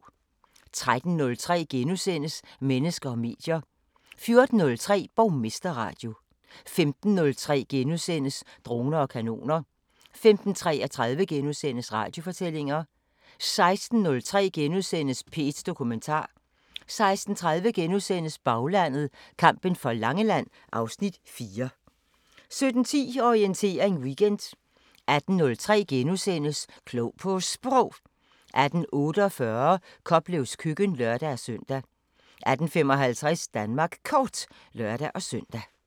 13:03: Mennesker og medier * 14:03: Borgmesterradio 15:03: Droner og kanoner * 15:33: Radiofortællinger * 16:03: P1 Dokumentar * 16:30: Baglandet: Kampen for Langeland (Afs. 4)* 17:10: Orientering Weekend 18:03: Klog på Sprog * 18:48: Koplevs Køkken (lør-søn) 18:55: Danmark Kort (lør-søn)